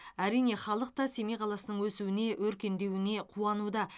әрине халық та семей қаласының өсуіне өркендеуіне қуануда